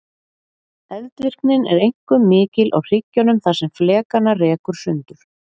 Eldvirknin er einkum mikil á hryggjunum þar sem flekana rekur sundur.